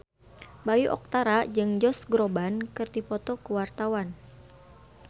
Bayu Octara jeung Josh Groban keur dipoto ku wartawan